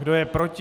Kdo je proti?